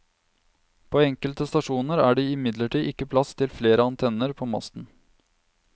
På enkelte stasjoner er det imidlertid ikke plass til flere antenner på masten.